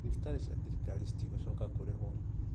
Thibitarĩ cia thirikarĩ citigũcoka kũhwo.